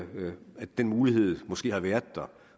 den mulighed måske har været der